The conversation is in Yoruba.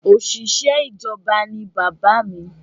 Òṣìṣẹ́ ìjọba ní bàbá mí